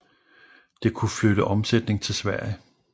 Det kunne flytte omsætning til Sverige